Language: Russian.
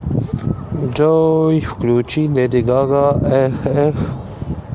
джой включи леди гага эх эх